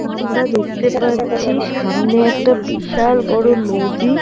আমরা দেখতে পাচ্ছি সামনে একটা বিশাল বড় নদী।